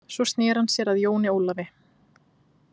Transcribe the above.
Svo sneri hann sér að Jóni Ólafi.